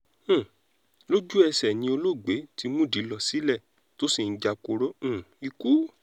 um lójú-ẹsẹ̀ ni olóògbé ti múdìí lọ sílé tó sì ń japoró um ikú